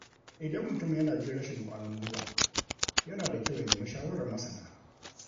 Idan mutum yana jin rashin ƙwãrin guiwa, yana da kyau ya nemi shawarar masana.